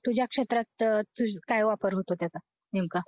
तुझ्या क्षेत्रात काय वापर होतो त्याचा नेमका?